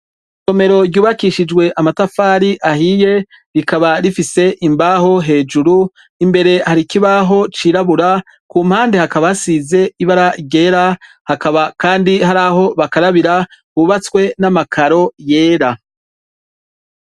Isomero ryubakishijwe amatafari ahiye rikaba rifise imbaho hejuru imbere Hari ikibaho cirabura Ku mpande hakaba hasize ibara ryera hakaba kandi haraho bakarabira hubatswe n'amakaro yera.